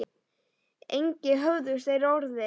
Engi höfðust þeir orð við.